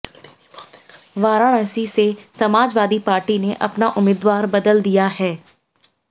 वाराणसी से समाजवादी पार्टी ने अपना उम्मीदवार बदल दिया है